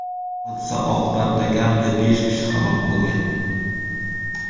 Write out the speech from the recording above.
Hodisa oqibatida kamida besh kishi halok bo‘lgan.